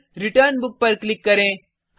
फिर return book पर click करें